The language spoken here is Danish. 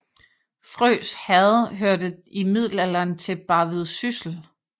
Frøs Herred hørte i middelalderen til Barvid Syssel